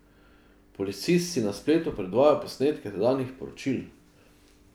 Policist si na spletu predvaja posnetke tedanjih poročil.